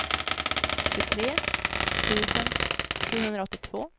tjugotre tusen sjuhundraåttiotvå